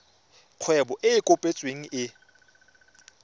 kgwebo e e kopetsweng e